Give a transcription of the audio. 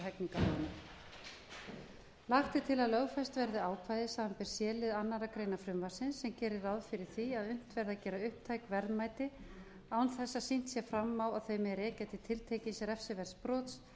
hegningarlögunum lagt er til að lögfest verði ákvæði samanber c lið annarrar greinar frumvarpsins sem gerir ráð fyrir því að unnt verði að gera upptæk verðmæti án þess að sýnt sé fram á að þau megi rekja til tiltekins refsiverðs brots